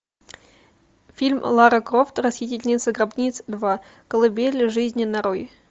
фильм лара крофт расхитительница гробниц два колыбель жизни нарой